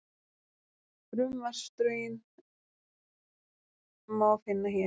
Frumvarpsdrögin má finna hér